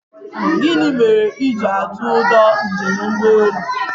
Gịnị mere i jiri atụ ụjọ njem ụgbọelu?